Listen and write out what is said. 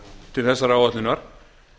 til þessarar áætlunar